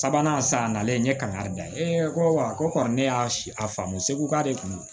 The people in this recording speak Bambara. Sabanan san nalen n ye kangari da ye ko ne y'a si a faamu seko k'ale kun